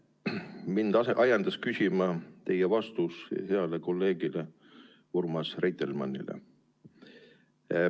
Mind ajendas küsima teie vastus heale kolleegile Urmas Reitelmannile.